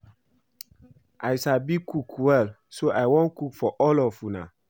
I sabi cook well so I wan cook for all of una